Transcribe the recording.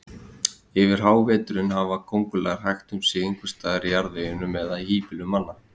Yfir háveturinn hafa kóngulær hægt um sig einhvers staðar í jarðveginum eða í híbýlum manna.